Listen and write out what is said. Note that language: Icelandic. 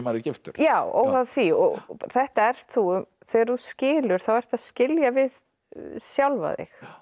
giftur já óháð því og þetta ert þú þegar þú skilur þá ertu að skilja við sjálfan þig